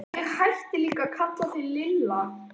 Þá hætti ég líka að kalla þig Lilla.